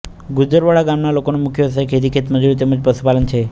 ગુજરવાડા ગામના લોકોનો મુખ્ય વ્યવસાય ખેતી ખેતમજૂરી તેમ જ પશુપાલન છે